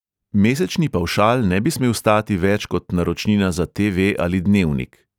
Mesečni pavšal ne bi smel stati več kot naročnina za te|ve ali dnevnik.